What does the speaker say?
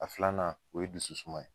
A filanan o ye dusu suma ye